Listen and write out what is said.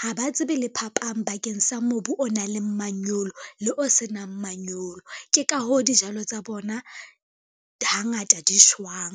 Ha ba tsebe le phapang bakeng sa mobu o nang le manyolo le o se nang manyolo ke ka hoo dijalo tsa bona hangata di shwang.